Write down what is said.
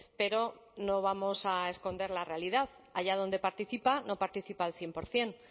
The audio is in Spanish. pero no vamos a esconder la realidad allá donde participa no participa al cien por ciento